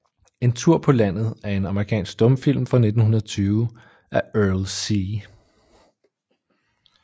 En Tur paa Landet er en amerikansk stumfilm fra 1920 af Erle C